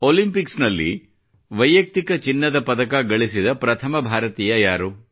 Olympic ನಲ್ಲಿ ವೈಯಕ್ತಿಕ ಚಿನ್ನದ ಪದಕ ಸಾಧಿಸಿದ ಪ್ರಥಮ ಭಾರತೀಯ ಯಾರು